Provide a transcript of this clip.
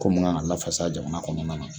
Ko mun kan ka lafasa jamana kɔnɔna na.